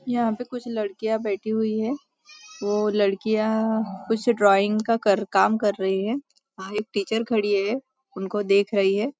यहाँ पे कुछ लड़कियाँ बैठी हुई है वो लड़कियाँ कुछ ड्राइंग कर का काम कर रही है वहाँ एक टीचर खड़ी है उनको देख रही है।